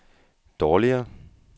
dårligere